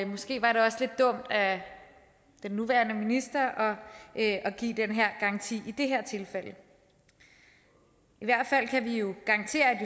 måske var det også lidt dumt af den nuværende minister at at give den garanti i det her tilfælde i hvert fald kan vi jo garantere at